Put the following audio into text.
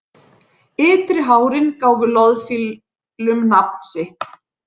Ytri hárin gáfu loðfílum nafn sitt.